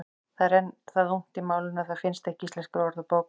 Það er enn það ungt í málinu að það finnst ekki í Íslenskri orðabók.